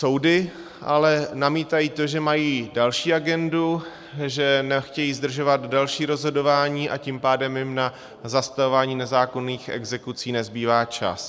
Soudy ale namítají to, že mají další agendu, že nechtějí zdržovat další rozhodování, a tím pádem jim na zastavování nezákonných exekucí nezbývá čas.